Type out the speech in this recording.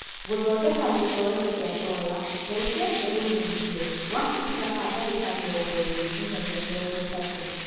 guthondeka gitoero kia soya, therũkia mbegũ nyũmithie gwa kahinda ka dagika mĩrongo ĩlĩ nginyagia mĩrongo itatu